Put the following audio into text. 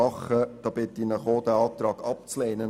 Ich bitte Sie, auch diesen Antrag abzulehnen.